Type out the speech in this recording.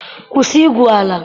kwụsị igwu ala!